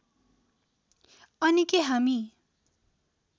अनि के हामी